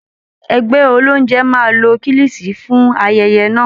Ẹgbẹ́ olóúnjẹ máa lo kílìṣìí fún ayẹyẹ náà